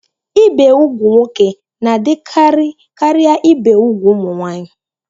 Ibi úgwù nwoke na-adịkarị karịa ibi úgwù ụmụ nwaanyị.